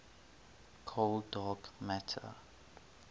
cold dark matter